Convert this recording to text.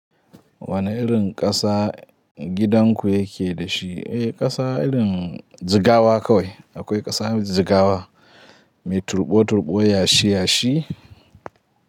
Wane irin ƙasa gidan ku yake da shi? Eh, ƙasa irin jigawa kawai. Akwai ƙasa jigawa mai turbo-turɓo yashi-yashi.